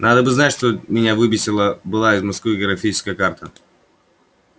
надо бы знать что меня выписана была из москвы географическая карта